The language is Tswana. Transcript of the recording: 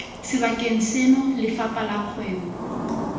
sebakeng seno lefapha la kgwebo